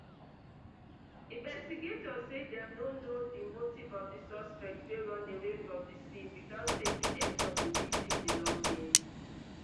investigators say dem no know di motive of di suspect wey runaway from di scene witout taking any of di victim belongings